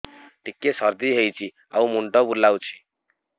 ଟିକିଏ ସର୍ଦ୍ଦି ହେଇଚି ଆଉ ମୁଣ୍ଡ ବୁଲାଉଛି